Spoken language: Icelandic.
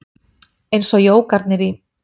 Eins og jógarnir í